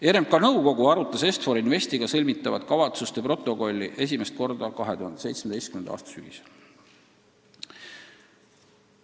RMK nõukogu arutas Est-For Investiga sõlmitavat kavatsuste protokolli esimest korda 2017. aasta sügisel.